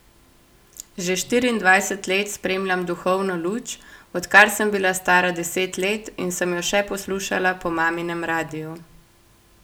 Že štiriindvajset let spremljam Duhovno luč, odkar sem bila stara deset let in sem jo še poslušala po maminem radiu.